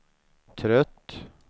trött